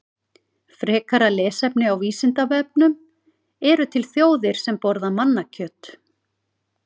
Frekara lesefni á Vísindavefnum: Eru til þjóðir sem borða mannakjöt?